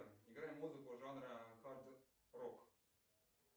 играй музыку жанра хард рок